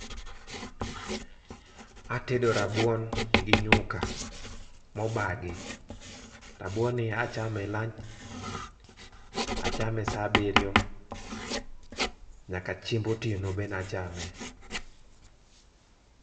Atedo rabuon gi nyuka mo obagi, rabuon ni achame [lunch achame saa abiriyo nyaka chiemb otieno be na chame.